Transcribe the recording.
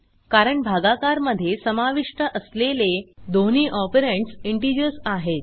कारण भागाकार मध्ये समाविष्ट असलेले दोन्ही ऑपरंड्स इंटिजर्स आहेत